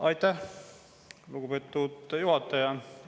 Aitäh, lugupeetud juhataja!